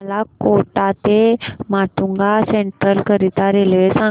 मला कोटा ते माटुंगा सेंट्रल करीता रेल्वे सांगा